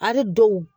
Ari dɔw